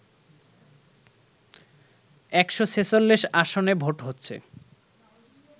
১৪৬ আসনে ভোট হচ্ছে